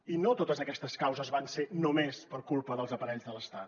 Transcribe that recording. i no totes aquestes causes van ser només per culpa dels aparells de l’estat